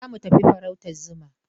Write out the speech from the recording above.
Za mu tafi farautar zuma.